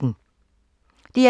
DR2